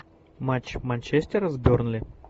матч манчестера с бернли